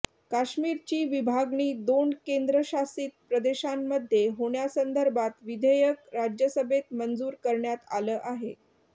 काश्मीरची विभागणी दोन केंद्रशासित प्रदेशांमध्ये होण्यासंदर्भात विधेयक राज्यसभेत मंजूर करण्यात आलं आहे